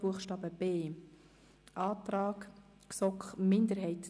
Buchstabe a ist es das Gleiche.